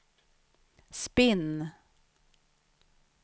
spinn